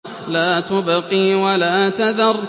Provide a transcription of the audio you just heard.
لَا تُبْقِي وَلَا تَذَرُ